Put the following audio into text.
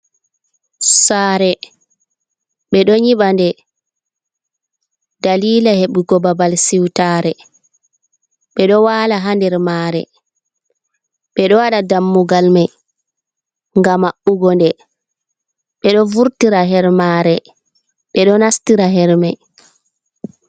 Saare beɗo nyiɓa nde dalila heɓugo babal siwtaare, ɓeɗo waala ha nder maare, ɓeɗo waɗa dammugal mai ngam maɓɓugo nde, ɓeɗo vurtira her maare, ɓeɗo nastira her mai.